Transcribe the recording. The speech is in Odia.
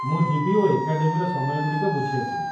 ମୁଁ ଯିବି ଓ ଏକାଡେମୀର ସମୟଗୁଡ଼ିକ ବୁଝି ଆସିବି।